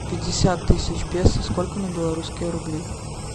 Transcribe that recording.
пятьдесят тысяч песо сколько на белорусские рубли